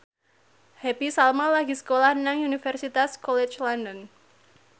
Happy Salma lagi sekolah nang Universitas College London